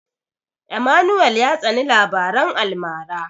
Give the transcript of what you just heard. Emmanuel ya tsani labaran almara.